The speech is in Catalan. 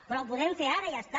però ho podem fer ara i ja està